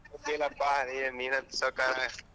Deal ಪ್ಪ ನೀನ್ ಅಂತು ಸಾವ್ಕಾರ.